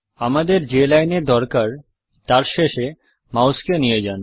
আমাদের যে লাইনের দরকার তার শেষে মাউসকে নিয়ে যান